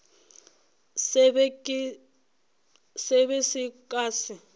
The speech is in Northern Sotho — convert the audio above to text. se be se ka se